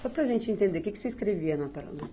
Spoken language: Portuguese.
Só para a gente entender, o que que você escrevia na para, na?